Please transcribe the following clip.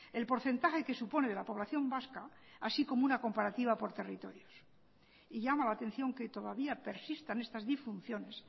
el porcentaje que supone de la población vasca así como una comparativa por territorios y llama la atención que todavía persistan estas disfunciones